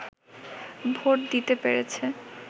vote দিতে পেরেছে